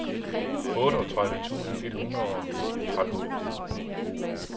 otteogtredive tusind et hundrede og tretten